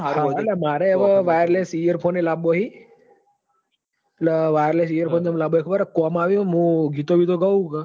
મારે અવ wireless earphone લાંબો હી એટલ wireless earphone લાંબો હી ખબર હી કોમ આવી મુ ગીતો બીતો ગવ હું ક